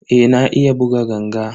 Eh na iya buga ganga.